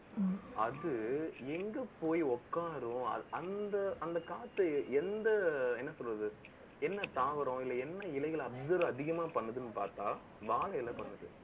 அது, எங்க போய் உட்காரும் அந்த ~அந்த காற்று எந்த, என்ன சொல்றது என்ன தாவரம் என்ன இலைகளை, அதிகமா பண்ணுதுன்னு பார்த்தா வாழை இலை பண்ணுது